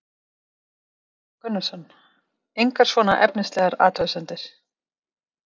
Gunnar Atli Gunnarsson: Engar svona efnislegar athugasemdir?